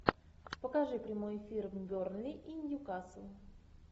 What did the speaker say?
покажи прямой эфир бернли и ньюкасл